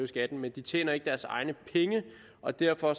skatten men de tjener ikke deres egne penge og derfor